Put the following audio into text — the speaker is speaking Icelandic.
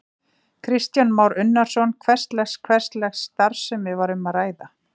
Kristján Már Unnarsson: Hvers lags, hvers lags starfsemi var um að ræða?